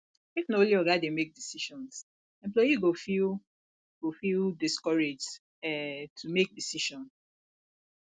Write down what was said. if na only oga dey make decisions employee go feel go feel discouraged um to make decision